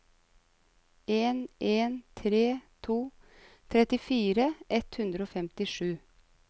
en en tre to trettifire ett hundre og femtisju